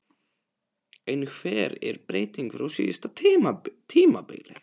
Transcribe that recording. En hver er breytingin frá síðasta tímabili?